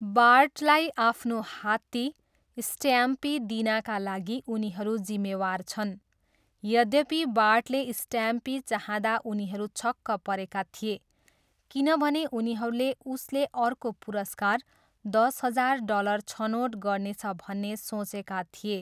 बार्टलाई आफ्नो हात्ती, स्ट्याम्पी दिनाका लागि उनीहरू जिम्मेवार छन्, यद्यपि बार्टले स्टाम्पी चाहँदा उनीहरू छक्क परेका थिए, किनभने उनीहरूले उसले अर्को पुरस्कार, दस हजार डलर छनोट गर्नेछ भन्ने सोचेका थिए।